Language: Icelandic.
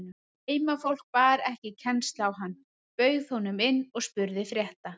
Heimafólk bar ekki kennsl á hann, bauð honum inn og spurði frétta.